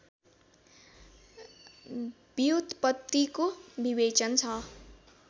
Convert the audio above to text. व्युत्पत्तिको विवेचन छ